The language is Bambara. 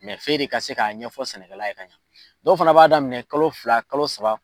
f'e de ka se k'a ɲɛfɔ sɛnɛkɛla ye ka ɲɛ, dɔw fana b'a daminɛ kalo fila, kalo saba